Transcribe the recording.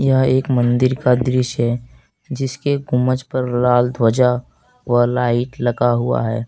यह एक मंदिर का दृश्य है जिसके गुंबज पर लाल ध्वजा व लाइट लगा हुआ है।